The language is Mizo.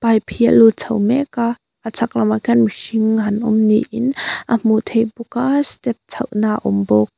pipe hi a lut chho mek a a chhak lamah khian mihring a han awm ni in a hmuh theih bawk a step chhoh na awm bawk.